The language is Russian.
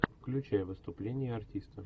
включай выступление артиста